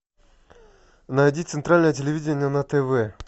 найди центральное телевидение на тв